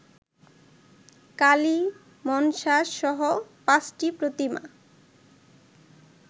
কালি, মনষাসহ ৫টি প্রতীমা